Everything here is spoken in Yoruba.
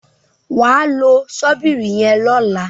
wá ló Ṣọ́bìrì yen lọla.